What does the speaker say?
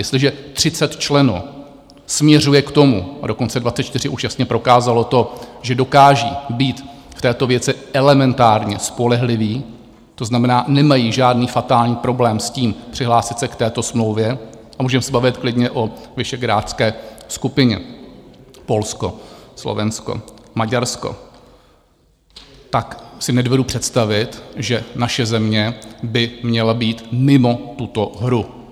Jestliže 30 členů směřuje k tomu, a dokonce 24 už jasně prokázalo to, že dokážou být v této věci elementárně spolehliví, to znamená, nemají žádný fatální problém s tím přihlásit se k této smlouvě, a můžeme se bavit klidně o visegrádské skupině - Polsko, Slovensko, Maďarsko - tak si nedovedu představit, že naše země by měla být mimo tuto hru.